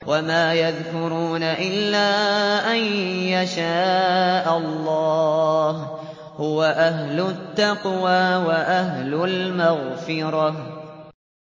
وَمَا يَذْكُرُونَ إِلَّا أَن يَشَاءَ اللَّهُ ۚ هُوَ أَهْلُ التَّقْوَىٰ وَأَهْلُ الْمَغْفِرَةِ